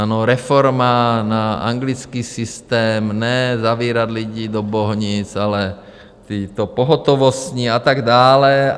Ano, reforma na anglický systém, ne zavírat lidi do Bohnic, ale tyto pohotovostní a tak dále.